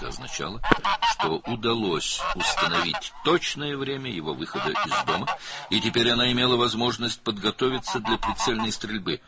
Bu o demək idi ki, onun evdən çıxmasının dəqiq vaxtını müəyyən etmək mümkün olub və indi o, dəqiq atəş açmaq üçün hazırlaşmaq imkanına malik idi.